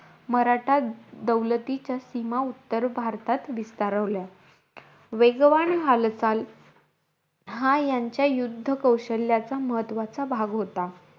मराठा दौलतीच्या सीमा, उत्तर भारतात विस्तारवल्या. वेगवान हालचाल, हा यांच्या युद्ध कौशल्याचा महत्वाचा भाग होता.